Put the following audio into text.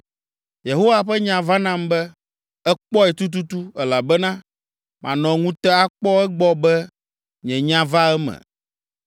Yehowa ƒe nya va nam be, “Èkpɔe tututu, elabena manɔ ŋute akpɔ egbɔ be nye nya va eme.”